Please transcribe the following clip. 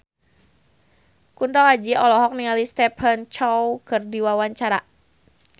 Kunto Aji olohok ningali Stephen Chow keur diwawancara